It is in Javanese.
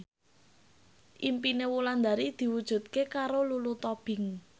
impine Wulandari diwujudke karo Lulu Tobing